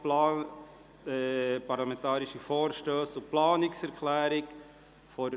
Parlamentarische Vorstösse und Planungserklärungen 2018.